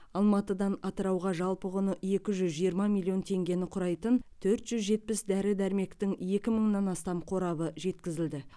алматыдан атырауға жалпы құны екі жүз жиырма миллион теңгені құрайтын төрт жүз жетпіс дәрі дәрмектің екі мыңнан астам қорабы жеткізілді